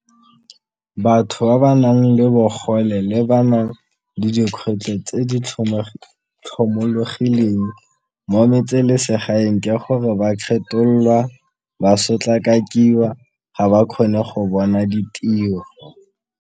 Batho ba ba nang le bogole le ba nang le dikgwetlho tse di tlhomologileng mo metselesegae ke gore ba kgetholwa, ba sotlakakiwa, ga ba kgone go bona ditiro.